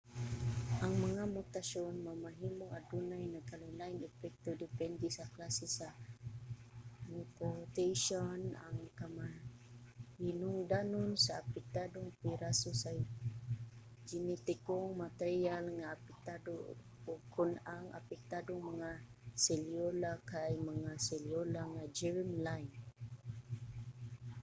ang mga mutasyon mamahimong adunay nagkalain-laing epekto depende sa klase sa mutation ang kamahinungdanon sa apektadong piraso sa genetikong materyal nga apektado ug kon ang apektadong mga selyula kay mga selyula nga germ-line